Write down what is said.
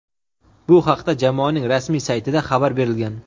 Bu haqda jamoaning rasmiy saytida xabar berilgan.